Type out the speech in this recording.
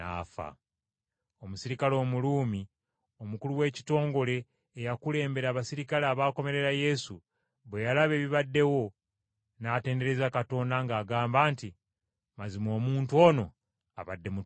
Omuserikale Omuruumi omukulu w’ekitongole eyakulembera abaserikale abaakomerera Yesu, bwe yalaba ebibaddewo, n’atendereza Katonda ng’agamba nti, “Mazima omuntu ono abadde mutuukirivu.”